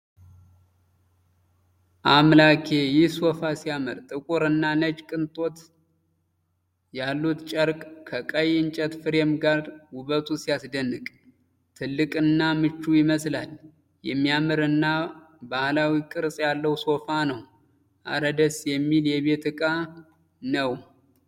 ያአምላኬ! ይህ ሶፋ ሲያምር! ጥቁር እና ነጭ ቅጦች ያሉት ጨርቅ ከቀይ እንጨት ፍሬም ጋር ውበቱ ሲያስደንቅ። ትልቅና ምቹ ይመስላል። የሚያምር እና ባህላዊ ቅርፅ ያለው ሶፋ ነው። እረ! ደስ የሚል የቤት እቃ ነው!